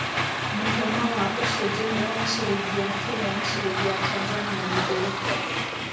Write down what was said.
mũigana wa ũcenjanĩa wa cĩrĩngĩ ya Kenya na cĩrĩngĩ ya Tanzania nĩ ũrĩkũ